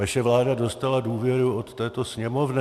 Vaše vláda dostala důvěru od této Sněmovny.